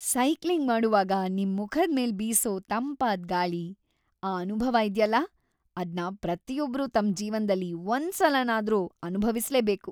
Cycling ಮಾಡೋವಾಗ ನಿಮ್ ಮುಖದ್ ಮೇಲ್ ಬೀಸೋ ತಂಪಾದ್ ಗಾಳಿ.. ಆ ಅನುಭವ ಇದ್ಯಲ್ಲ.. ಅದ್ನ ಪ್ರತಿಯೊಬ್ರೂ ತಮ್ ಜೀವನ್ದಲ್ಲಿ ಒಂದ್ಸಲನಾದ್ರೂ ಅನುಭವಿಸ್ಲೇಬೇಕು.